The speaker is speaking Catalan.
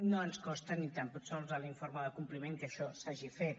no ens consta ni tan sols a l’informe de compliment que això s’hagi fet